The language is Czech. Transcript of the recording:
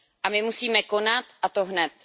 A my musíme konat a to hned.